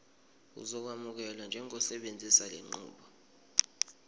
uzokwamukelwa njengosebenzisa lenqubo